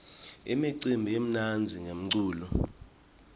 imicimbi imnandzi ngemculo